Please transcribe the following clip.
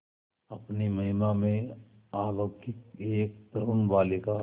अपनी महिमा में अलौकिक एक तरूण बालिका